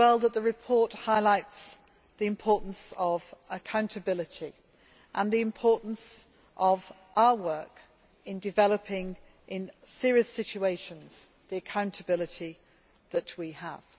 The report also highlights the importance of accountability and the importance of our work in developing, in serious situations, the accountability that we have.